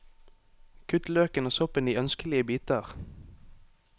Kutt løken og soppen i ønskelige biter.